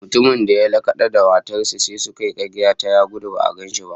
Mutumin da ya lakada wa matar sa suka ya karya ta, ya gudu ba'a gan shi ba